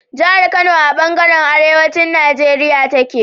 Jahar Kano a banjaran arewacin Nigeria take